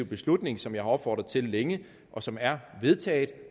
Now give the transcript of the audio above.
beslutning som jeg har opfordret til længe og som er vedtaget